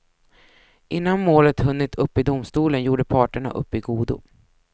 Innan målet hunnit upp i domstolen gjorde parterna upp i godo.